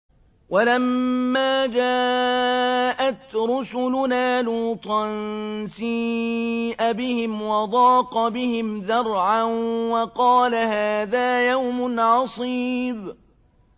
وَلَمَّا جَاءَتْ رُسُلُنَا لُوطًا سِيءَ بِهِمْ وَضَاقَ بِهِمْ ذَرْعًا وَقَالَ هَٰذَا يَوْمٌ عَصِيبٌ